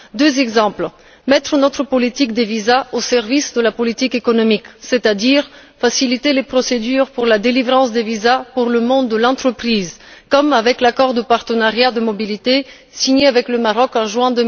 Deux exemples mettre notre politique des visas au service de la politique économique, c'est à dire faciliter les procédures de délivrance des visas pour le monde de l'entreprise, comme avec l'accord de partenariat de mobilité signé avec le Maroc en juin